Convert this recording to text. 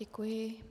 Děkuju.